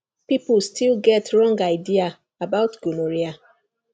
people still get wrong idea about gonorrhea